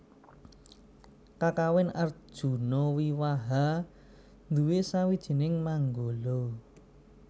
Kakawin Arjunawiwaha nduwé sawijining manggala